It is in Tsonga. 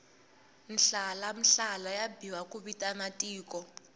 mhlalamhlala yi biwa ku vitana tiko